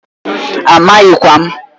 Amaghịkwa m.